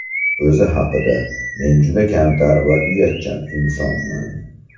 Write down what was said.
O‘zi haqida: Men juda kamtar va uyatchan insonman.